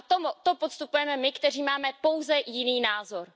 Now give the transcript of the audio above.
A to podstupujeme my, kteří máme pouze jiný názor.